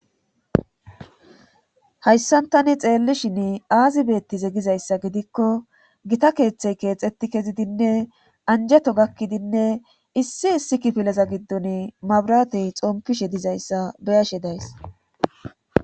hayssantani xeellishin aazibeettize gizayssa gidikko gita keeththey keexetti kezidinne anjeto gakkidinne issi issi kipileza giddon mabratey xompishe dizayssa beyashe days